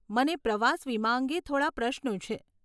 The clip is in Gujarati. મને પ્રવાસ વીમા અંગે થોડાં પ્રશ્નો છે.